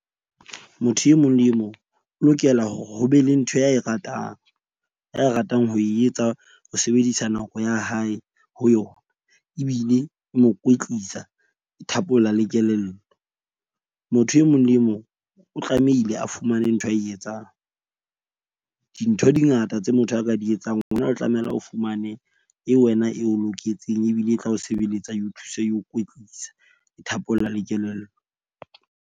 Motho e mong le e mong o lokela hore ho be le ntho ya e ratang, ya ratang ho e etsa ho sebedisa nako ya hae ho yona. Ebile e mo kwetlisa e thapolla le kelello. Motho e mong le mong o tlamehile a fumane ntho ae etsang. Dintho di ngata tse motho a ka di etsang ona, o tlamela o fumane e wena eo loketseng ebile e tla o sebeletsa eo thusa eo kwetlisa thapolla le kelello.